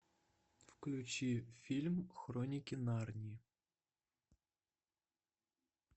включи фильм хроники нарнии